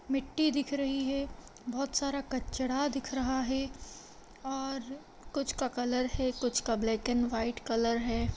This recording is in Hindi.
मिट्टी दिख रही है बहुत सारा कचड़ा दिख रहा है और कुछ का कलर है कुछ का ब्लैक एंड व्हाइट कलर है।